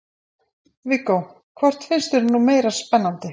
Viggó: Hvort finnst þér nú meira spennandi?